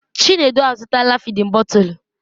Chinedu azụtala fịdin bọtul.